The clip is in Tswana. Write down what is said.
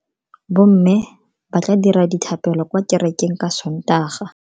Bomme ba tla dira dithapelo kwa kerekeng ka Sontaga.